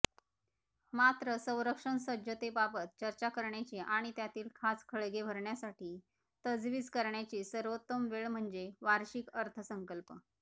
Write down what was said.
मात्र संरक्षणसज्जतेबाबत चर्चा करण्याची आणि त्यातील खाचखळगे भरण्यासाठी तजवीज करण्याची सर्वोत्तम वेळ म्हणजे वार्षिक अर्थसंकल्प